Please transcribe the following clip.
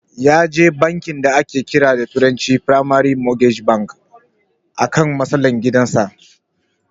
Yaje bankin da ake kira da turanci "primary mortgage banks" akan matsalar gidan sa.